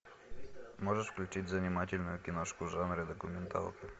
можешь включить занимательную киношку в жанре документалка